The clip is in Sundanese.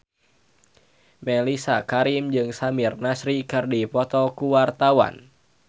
Mellisa Karim jeung Samir Nasri keur dipoto ku wartawan